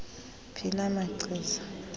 phi la machiza